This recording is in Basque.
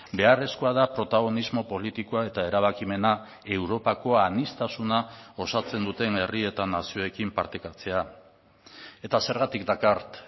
beharrezkoa da protagonismo politikoa eta erabakimena europako aniztasuna osatzen duten herri eta nazioekin partekatzea eta zergatik dakart